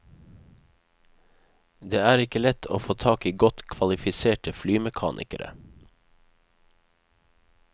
Det er ikke lett å få tak i godt kvalifiserte flymekanikere.